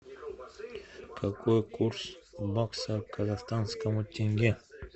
какой курс бакса к казахстанскому тенге